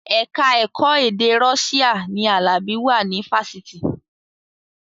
Ẹ̀ka ẹ̀kọ́ èdè Russian ni Alabi wà ní fásitì